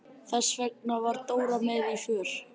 Þess vegna var Dóra með í för.